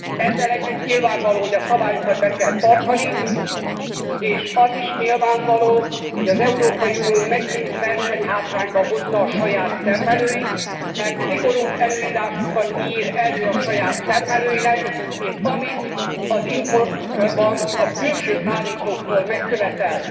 Ezzel együtt nyilvánvaló, hogy a szabályokat be kell tartani és az is nyilvánvaló, hogy az Európai Unió megint versenyhátrányba hozza a saját termelőit, mert szigorúbb előírásokat ír elő a saját termelőinek, mint amit az importban a külső szállítóktól megkövetel.